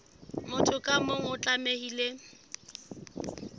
motho ka mong o tlamehile